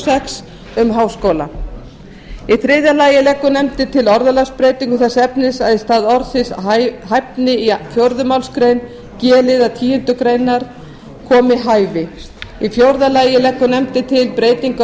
sex um háskóla í þriðja lagi leggur nefndin til orðalagsbreytingu þess efnis að í stað orðsins hæfni í fjórðu málsgrein g liðar tíundu grein komi hæfi í fjórða lagi leggur nefndin til breytingu á